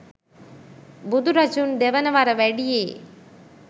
බුදුරජුන් දෙවන වර වැඩියේ